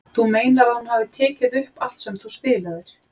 Þú meinar að hún hafi tekið upp allt sem þú spilaðir?